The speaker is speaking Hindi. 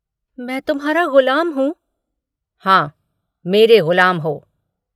मैं तुम्हारा गुलाम हूँ। हाँ मेरे गुलाम हो।